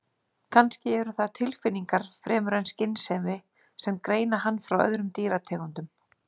Kannski eru það tilfinningar fremur en skynsemi sem greina hann frá öðrum dýrategundum.